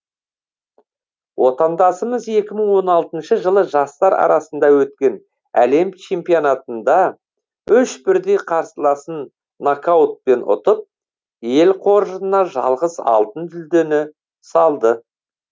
отандасымыз екі мың он алтыншы жылы жастар арасында өткен әлем чемпионатында үш бірдей қарсыласын нокаутпен ұтып ел қоржынына жалғыз алтын жүлдені салды